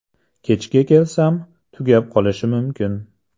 Kechga kelsam, tugab qolishi mumkin.